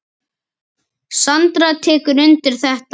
Sandra tekur undir þetta.